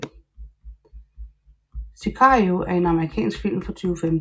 Sicario er en amerikansk film fra 2015